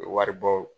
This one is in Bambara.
Wari bɔ